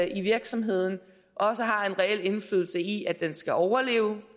i virksomheden også har en reel interesse i at den skal overleve